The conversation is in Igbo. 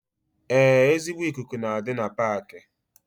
Ee ezigbo ikuku na-adi na Paaki